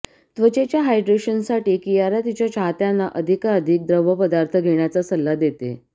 त्वचेच्या हायड्रेशनसाठी कियारा तिच्या चाहत्यांना अधिकाधिक द्रवपदार्थ घेण्याचा सल्ला देते